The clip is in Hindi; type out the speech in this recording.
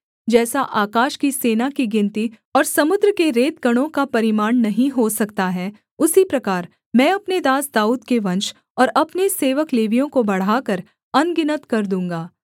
जैसा आकाश की सेना की गिनती और समुद्र के रेतकणों का परिमाण नहीं हो सकता है उसी प्रकार मैं अपने दास दाऊद के वंश और अपने सेवक लेवियों को बढ़ाकर अनगिनत कर दूँगा